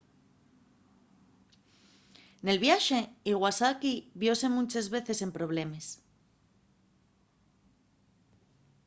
nel viaxe iwasaki viose munches veces en problemes